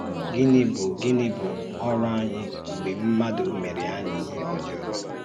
Gínị̀ bụ́ Gínị̀ bụ́ ọrụ ànyí mgbe mmádụ méré ànyí íhè ọ̀jọọ?